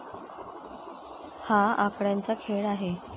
हा आकड्यांचा खेळ आहे.